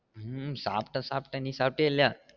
ஹம் சாப்டேன் சாப்டேன் நீ சாப்டியா இல்லையா?